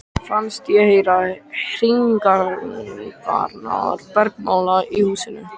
Fannst ég heyra hringingarnar bergmála í húsinu.